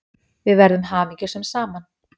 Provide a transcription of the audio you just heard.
Við verðum hamingjusöm saman.